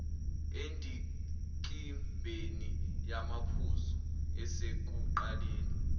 endikimbeni yamaphuzu esekuqaleni